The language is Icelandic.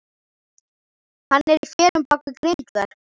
Hann er í felum bak við grindverk.